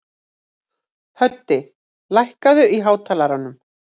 Höddi, lækkaðu í hátalaranum.